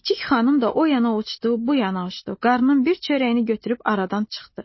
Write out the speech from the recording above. Cikcik xanım da o yana uçdu, bu yana uçdu, qarnın bir çörəyini götürüb aradan çıxdı.